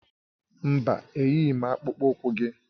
Mba, eyighị m akpụkpọ ụkwụ gị